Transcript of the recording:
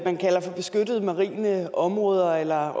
man kalder beskyttede marine områder eller